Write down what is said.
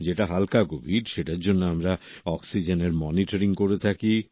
যেটা হালকা কোভিড সেটার জন্য আমরা অক্সিজেনের মনিটরিং করে থাকি